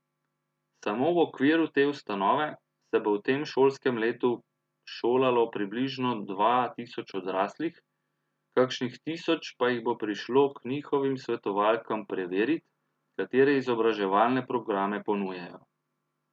Samo v okviru te ustanove se bo v tem šolskem letu šolalo približno dva tisoč odraslih, kakšnih tisoč pa jih bo prišlo k njihovim svetovalkam preverit, katere izobraževalne programe ponujajo.